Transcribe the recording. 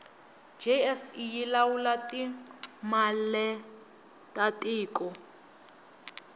jse yilawula timaletatiko